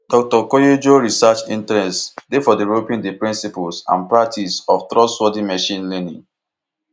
dr koyejo research interests dey for developing di principles and practice of trustworthy machine learning